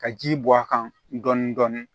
Ka ji bɔ a kan dɔɔni dɔɔni